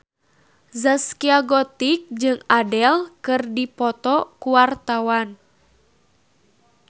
Zaskia Gotik jeung Adele keur dipoto ku wartawan